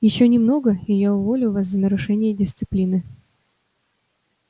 ещё немного и я уволю вас за нарушение дисциплины